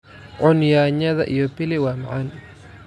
Cun yaanyada iyo pili waa macaan.